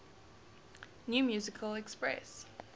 new musical express